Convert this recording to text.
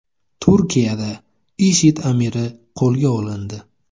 Turkiyada IShID amiri qo‘lga olindi.